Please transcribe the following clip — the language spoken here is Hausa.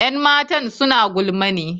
Yan matan suna gulma ne?